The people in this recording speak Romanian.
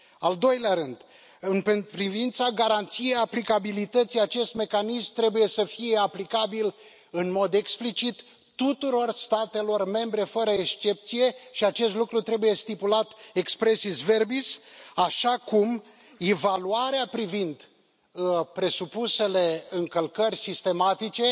Al doilea rând, în privința garanției aplicabilității, acest mecanism trebuie să fie aplicabil în mod explicit tuturor statelor membre fără excepție și acest lucru trebuie stipulat expressis verbis așa cum evaluarea privind presupusele încălcări sistematice